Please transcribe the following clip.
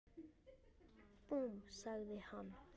Búmm! sagði hann.